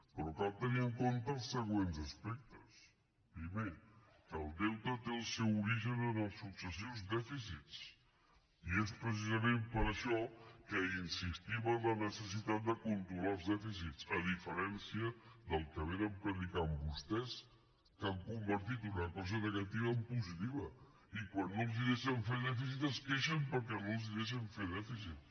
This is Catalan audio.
però cal tenir en compte els següents aspectes primer que el deute té el seu origen en els successius dèficits i és precisament per això que insistim en la necessitat de controlar els dèficits a diferència del que prediquen vostès que han convertit una cosa negativa en positiva i quan no els deixen fer dèficit es queixen perquè no els deixen fer dèficit